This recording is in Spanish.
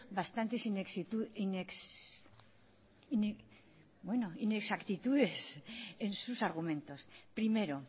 bastantes inexactitudes en sus argumentos primero